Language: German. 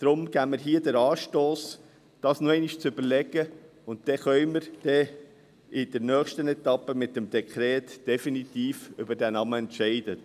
Deshalb geben wir hier den Anstoss, dies noch einmal zu überdenken, und dann können wir in der nächsten Etappe mit dem Dekret definitiv über diese Namen entscheiden.